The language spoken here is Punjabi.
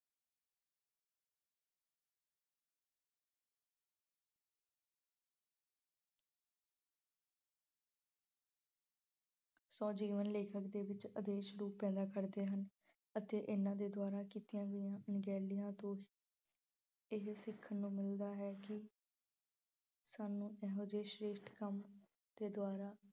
ਸਵੈ-ਜੀਵਨ ਲੇਖਕ ਦੇ ਵਿੱਚ ਆਦੇਸ਼ ਰੂਪ ਪੈਦਾ ਕਰਦੇ ਹਨ ਅਤੇ ਇਹਨਾਂ ਦੇ ਦੁਆਰਾ ਕੀਤੀਆਂ ਗਈਆਂ ਅਣਗਹਿਲੀਆਂ ਤੋਂ ਇਹ ਸਿੱਖਣ ਨੂੰ ਮਿਲਦਾ ਹੈ ਕਿ ਸਾਨੂੰ ਇਹੋ ਜਿਹੇ ਸ਼੍ਰੇਸ਼ਠ ਕੰਮ ਦੇ ਦੁਆਰਾ